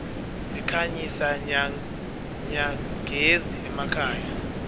sikhanyisa nyagezi emakhaya